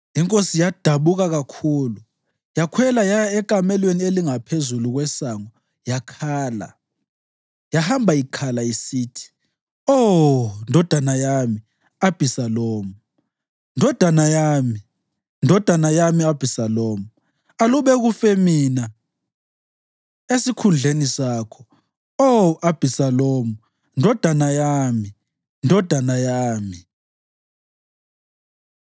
Inkosi yadabuka kakhulu. Yakhwela yaya ekamelweni elingaphezu kwesango yakhala. Yahamba ikhala isithi, “Oh, ndodana yami Abhisalomu! Ndodana yami, ndodana yami Abhisalomu! Aluba kufe mina esikhundleni sakho, Oh Abhisalomu, ndodana yami, ndodana yami!”